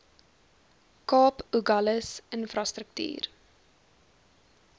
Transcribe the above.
kaap agulhas infrastruktuur